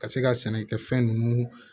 Ka se ka sɛnɛ kɛ fɛn ninnu